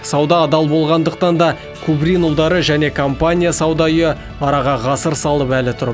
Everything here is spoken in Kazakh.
сауда адал болғандықтан да кубрин ұлдары және компания сауда үйі араға ғасыр салып әлі тұр